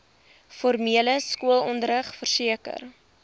formele skoolonderrig verseker